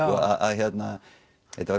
þetta